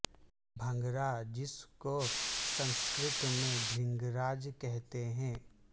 بھنگرہ جس کو سنسکرت میں بھرنگ راج کہتے ہے